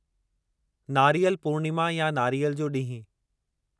नारीअल पूर्णिमा या नारियल जो ॾींहुं